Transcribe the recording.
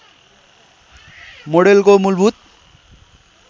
माडेलको मूलभूत